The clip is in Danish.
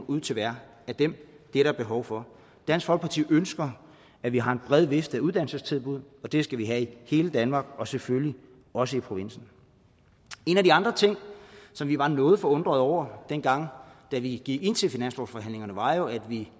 ud til hvert af dem det er der behov for dansk folkeparti ønsker at vi har en bred vifte af uddannelsestilbud det skal vi have i hele danmark og selvfølgelig også i provinsen en af de andre ting som vi var noget forundrede over dengang vi gik ind til finanslovsforhandlingerne var jo at vi